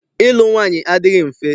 Ịlụ nwaanyị adịghị mfe.